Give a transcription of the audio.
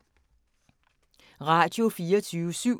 Radio24syv